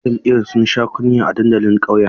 ‘Yan jam’iyyar sun sha kunya a dandalin ƙauyen.